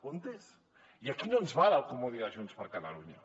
on és i aquí no ens val el comodí de junts per catalunya